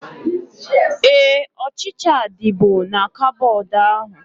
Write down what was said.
Éè, ọchịchịa dịbu na koboodu ahu